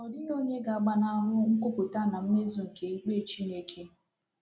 Ọ dịghị onye ga-agbanahụ nkwupụta na mmezu nke ikpe Chineke.